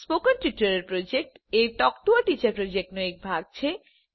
spoken tutorial project એ talk to a teacher પ્રોજેક્ટનો એક ભાગ છે